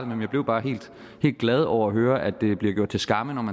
men jeg blev bare helt glad over at høre at den tanke blev gjort til skamme